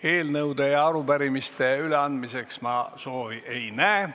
Eelnõude ja arupärimiste üleandmise soovi ma ei näe.